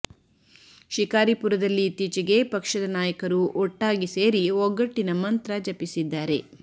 ಶಿಕಾರಿಪುರದಲ್ಲಿ ಇತ್ತೀಚೆಗೆ ಪಕ್ಷದ ನಾಯಕರು ಒಟ್ಟಾಗಿ ಸೇರಿ ಒಗ್ಗಟ್ಟಿನ ಮಂತ್ರ ಜಪಿಸಿದ್ದಾರೆ